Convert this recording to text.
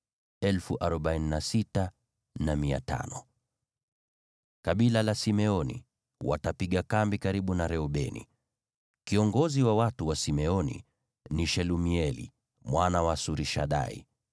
Kabila la Simeoni watapiga kambi karibu na Reubeni. Kiongozi wa watu wa Simeoni ni Shelumieli mwana wa Surishadai.